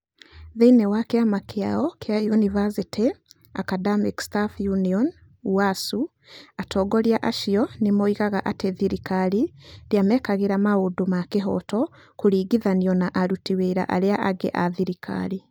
Thĩinĩ wa kĩama kĩao kĩa ũniversity Academic Staff ũnion ũasu, atongoria acio nĩ moigaga atĩ thirikari ndĩamekagĩra maũndũ na kĩhooto kũringithanio na aruti wĩra arĩa angĩ a thirikari.